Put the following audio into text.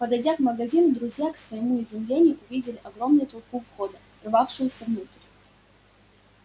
подойдя к магазину друзья к своему изумлению увидели огромную толпу у входа рвавшуюся внутрь